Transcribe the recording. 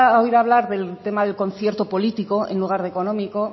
oír hablar del tema del concierto político en lugar de económico